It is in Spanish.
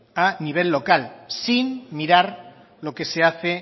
a nivel local sin mirar lo que se hace